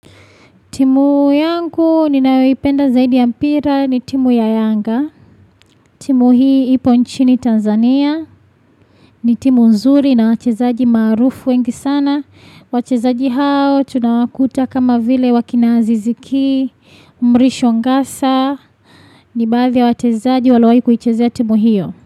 Timu yangu ninayoipenda zaidi ya mpira ni timu ya yanga. Timu hii ipo nchini Tanzania. Ni timu nzuri na wachezaji maarufu wengi sana. Wachezaji hao tunawakuta kama vile akina Zizikii. Mrishongasa. Ni baadhi ya wachezaji waliowahi kuichezea timu hiyo.